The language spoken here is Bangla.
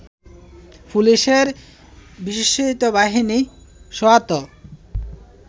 পুলিশের বিশেষায়িত বাহিনী সোয়াত